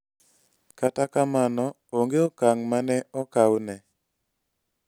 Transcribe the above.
Kata kamano, onge okang' ma ne okaw ne.